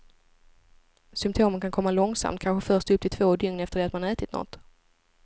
Symtomen kan komma långsamt, kanske först upp till två dygn efter det att man ätit något.